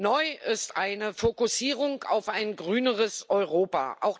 Neu ist eine Fokussierung auf ein grüneres Europa